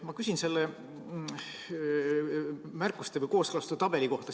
Ma küsin selle märkuste või kooskõlastustabeli kohta.